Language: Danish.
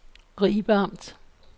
Ribe Amt